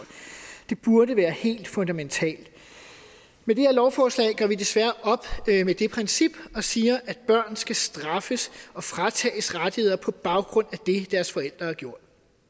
det burde være helt fundamentalt med det her lovforslag gør vi desværre op med det princip og siger at børn skal straffes og fratages rettigheder på baggrund af det deres forældre har gjort